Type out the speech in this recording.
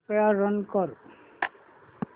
कृपया रन कर